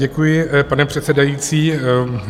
Děkuji, pane předsedající.